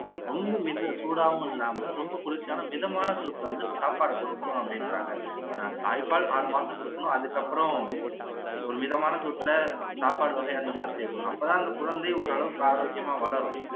ரொம்ப மித சூடாவும் இல்லாம ரொம்ப குளிர்ச்சியான மிதமான சூட்டுல வந்து சாப்பாடு கொடுக்கணும் அப்படின்றாங்க தாய்ப்பால் ஆறு மாசம் கொடுக்கணும் அதுக்கப்பறம் ஒரு மிதமான சூட்டுல சாப்பாடு வகை அந்த மாதிரி சேக்கணும் அப்போ தான் அந்த குழந்தை ஒரு அளவுக்கு ஆரோக்கியமா வளரும்